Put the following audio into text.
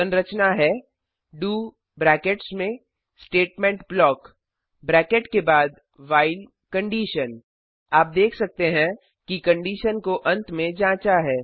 संरचना है do brackets में स्टेटमेंट ब्लॉक ब्रैकेट के बाद व्हाइल आप देख सकते हैं कि कंडीशन को अंत में जाँचा है